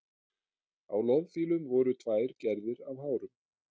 Á loðfílum voru tvær gerðir af hárum.